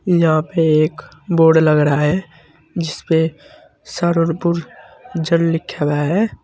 यहां पे एक बोर्ड लग रहा है जिसपे सररनपुर जल लिखा हुआ है।